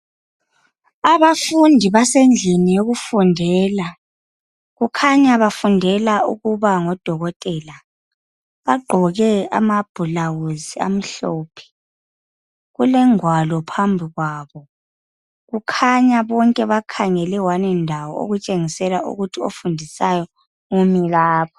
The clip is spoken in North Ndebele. Abafundi basendlini yokufundela kukhanya bafundela ukuba ngodokotela bagqoke ama "blouse" amhlophe kulengwalo phambi kwabo kukhanya bonke bakhangele "one" ndawo okutshengisela ukuthi ofundisayo umilapho.